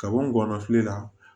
Kaban ngɔnɔ fili la